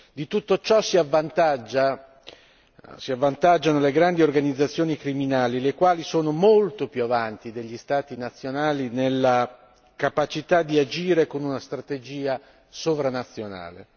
Di tutto ciò si avvantaggiano le grandi organizzazioni criminali, le quali sono molto più avanti degli Stati nazionali nella capacità di agire con una strategia sovranazionale.